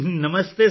ਨਮਸਤੇ sir